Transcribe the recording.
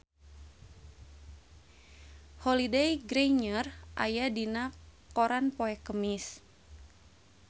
Holliday Grainger aya dina koran poe Kemis